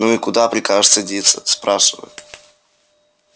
ну и куда прикажешь садиться спрашиваю